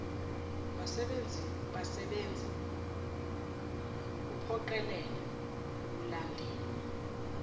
basebenzi wukuphoqelela ukulandelwa